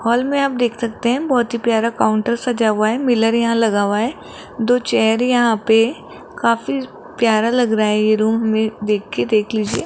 hall में आप देख सकते हैं बहोत ही प्यारा काउंटर सजा हुआ है मिरर यहाँ लगा हुआ है दो चेयर यहां पे काफी प्यारा लग रहा है ये रूम में देख के देख लीजिए --